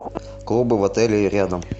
клубы в отеле рядом